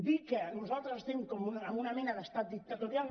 dir que nosaltres estem en una mena d’estat dictatorial